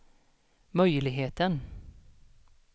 möjligheten